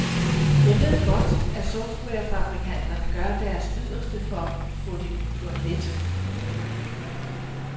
Jeg ved godt, at softwarefabrikanterne gør deres yderste for at få det gjort let.